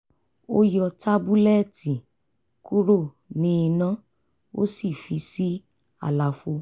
ó yọ tábúlẹ́ẹ̀tì kúrò ní iná ó sì fi sí àlàfo